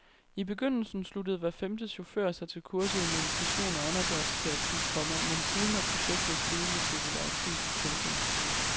I begyndelsen sluttede hver femte chauffør sig til kurset i meditation og åndedrætsterapi, komma men siden er projektet steget i popularitet. punktum